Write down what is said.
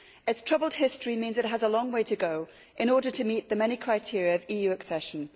Its troubled history means it has a long way to go in order to meet the many criteria of EU accession.